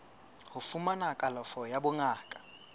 ho fumana kalafo ya bongaka